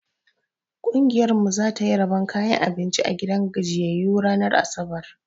Ƙungiyar mu za ta yi rabon kayan abinci a gidan gajiyyayu ranar asabar.